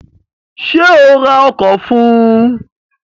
Sé o ra ọkọ̀ fún un?